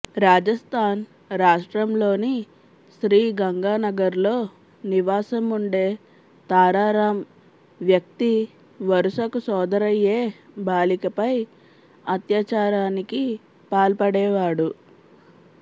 రాజస్థాన్ రాష్ట్రంలోని శ్రీగంగానగర్లో నివాసం ఉండే తారారాం వ్యక్తి వరుసకు సోదరయ్యే బాలికపై అత్యాచారానికి పాల్పడేవాడు